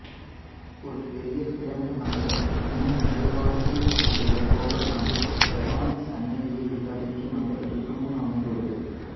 ஒரு பெரிய திறந்த மண்டபத்திற்கு முன் நுழைவாயிலில் உள்ள கோபுரமானது பிரதான சன்னதியை உள்ளடக்கிய மண்டபத்திற்கு முன் அமைந்துள்ளது